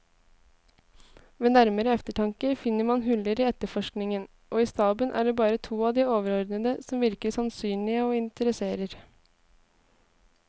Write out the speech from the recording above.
Ved nærmere eftertanke finner man huller i efterforskningen, og i staben er det bare to av de overordnede som virker sannsynlige og interesserer.